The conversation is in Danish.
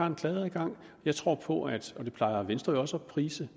en klageadgang jeg tror på og det plejer venstre jo også at prise